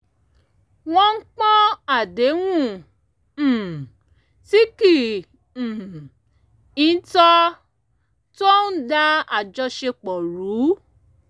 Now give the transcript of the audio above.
wọ́n pọ̀n àdéhùn um tí kì um í tọ́ tó ń dá àjọṣepọ̀ rú